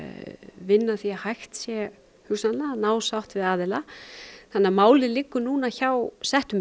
vinna að því að hægt sé hugsanlega að ná sátt við aðila þannig að málið liggur nú hjá settum